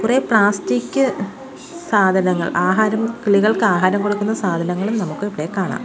ഇവിടെ പ്ലാസ്റ്റിക് സാധനങ്ങൾ ആഹാരം കിളികൾക്ക് ആഹാരം കൊടുക്കുന്ന സാധനങ്ങളും നമുക്ക് ഇവിടെ കാണാം.